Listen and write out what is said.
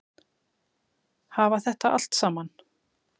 Hafa þetta allt saman?